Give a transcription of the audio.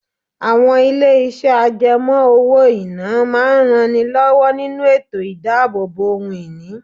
Àwọn ilé iṣẹ́ àjẹmó owó-ìná máa ń ran ni lówó nínú ètò idabobo ohun ìní.